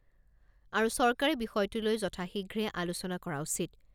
আৰু চৰকাৰে বিষয়টো লৈ যথাশীঘ্ৰে আলোচনা কৰা উচিত।